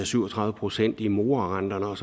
syv og tredive procent i morarenter når